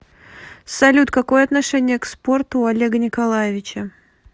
салют какое отношение к спорту у олега николаевича